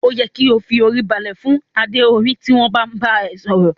O yẹ ki o fi orí balẹ̀ fún adé orí tí wọn bá n bá ẹ sọ̀rọ̀.